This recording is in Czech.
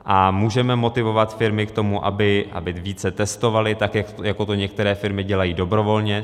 A můžeme motivovat firmy k tomu, aby více testovaly, tak jako to některé firmy dělají dobrovolně.